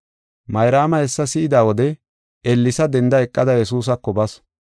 Mayraama hessa si7ida wode ellesa denda eqada Yesuusako basu.